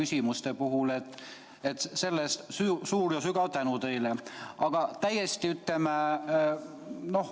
Selle eest suur ja sügav tänu teile!